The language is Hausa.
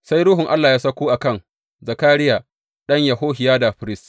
Sai Ruhun Allah ya sauko a kan Zakariya ɗan Yehohiyada firist.